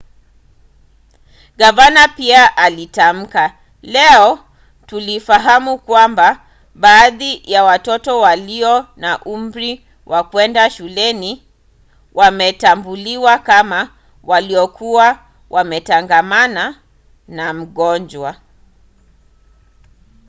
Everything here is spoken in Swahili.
gavana pia alitamka leo tulifahamu kwamba baadhi ya watoto walio na umri wa kwenda shuleni wametambuliwa kama waliokuwa wametangamana na mgonjwa.